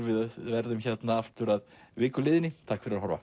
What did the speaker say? við verðum hérna aftur að viku liðinni takk fyrir að horfa